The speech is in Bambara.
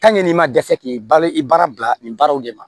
n'i ma dɛsɛ k'i balo i baara bila nin baaraw de ma